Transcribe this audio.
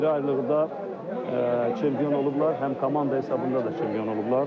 Ayrı-ayrılıqda çempion olublar, həm komanda hesabında da çempion olublar.